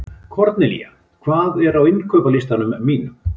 Kornelía, hvað er á innkaupalistanum mínum?